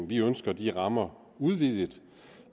vi ønsker de rammer udvidet